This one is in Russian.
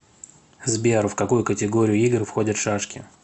сбер в какую категорию игр входят шашки